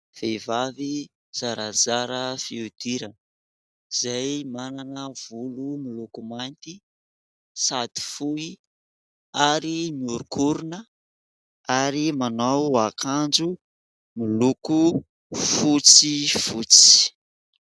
Vehivavy zarazara fihodirana izay manana volo miloko mainty sady fohy ary miorinkorona ary manao akanjo miloko fotsifotsy.